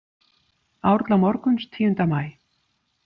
Árla morguns tíunda maí.